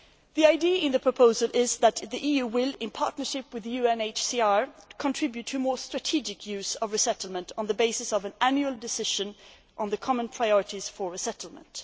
The idea in the proposal is that the EU, in partnership with the UNHCR, will contribute to more strategic use of resettlement on the basis of an annual decision on the common priorities for resettlement.